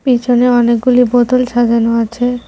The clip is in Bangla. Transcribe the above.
পিছনে অনেকগুলি বোতল সাজানো আছে।